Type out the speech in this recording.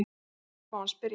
Ég horfi á hann spyrjandi.